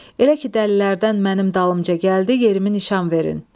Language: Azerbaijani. Elə ki dəlilərdən mənim dalımca gəldi, yerimi nişan verin.